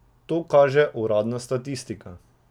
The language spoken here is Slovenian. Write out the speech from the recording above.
To kaže uradna statistika.